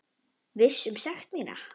Viss um sekt mína.